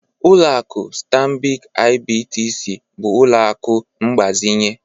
Ụlọakụ Stanbik IBTC bụ ụlọ akụ mgbazinye.